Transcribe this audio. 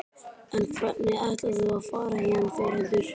En hvernig ætlar þú að fara héðan Þórhildur?